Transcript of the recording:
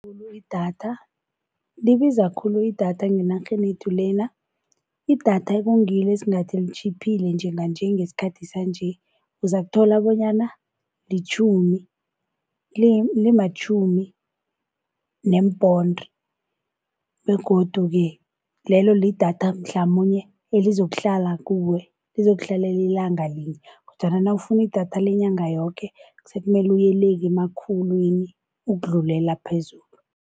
Idatha libiza khulu idatha ngenarheni yethu lena. Idatha ekungilo esingathi litjhiphile njenganje ngesikhathi sanje uzokuthola bonyana litjhumi, limatjhumi neemponde. Begodu-ke lelo lidatha mhlamunye elizokuhlala kuwe lizokuhlalela ilanga linye, kodwana nawufuna idatha lenyanga yoke sekumele uyele emakhulwini ukudlulela phezulu.